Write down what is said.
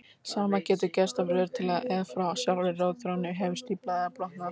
Sama getur gerst ef rör til eða frá sjálfri rotþrónni hefur stíflast eða brotnað.